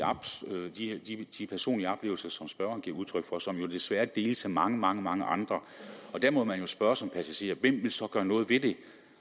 personlige oplevelser som spørgeren giver udtryk og som jo desværre deles af mange mange mange andre der må man jo spørge som passager hvem vil så gøre noget ved det